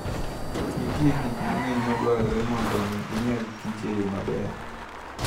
Nitie gik mang'eny madwarore mondo omi ginyagkich e yo maber.